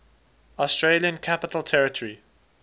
australian capital territory